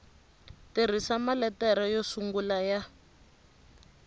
tirhisa maletere yo sungula ya